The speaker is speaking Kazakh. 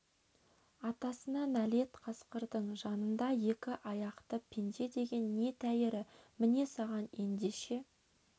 атасына нәлет қасқардың жанында екі аяқты пенде деген не тәйірі міне саған ендеше